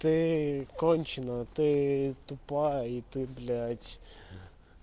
ты конченая ты тупая и ты блядь